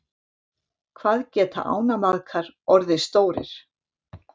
hvað geta ánamaðkar orðið stórir